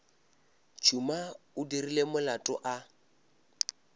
tšhuma o dirile molato a